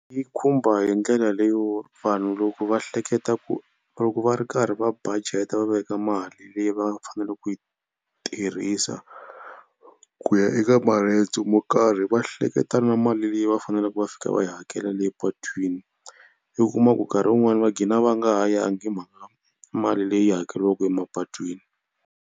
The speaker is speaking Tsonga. Yi khumba hi ndlela leyo vanhu loko va hleketa ku loko va ri karhi va budget-a va veka mali leyi va fanele ku yi tirhisa ku ya eka maendzo mo karhi va hleketa na mali leyi va faneleke va fika va yi hakela le patwini. I kuma ku nkarhi wun'wani va gqina va nga ha yangi hi mhaka mali leyi hakeriwaka emapatwini.